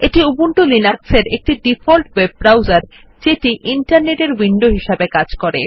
এটি উবুন্টু লিনাক্সের একটি ডিফল্ট ওয়েব ব্রাউসারযেটি ইন্টারনেট এর উইনডো হিসাবে কাজ করে